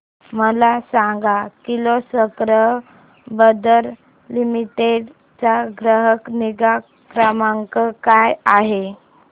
मला सांग Kirloskar brother limited चा ग्राहक निगा क्रमांक काय आहे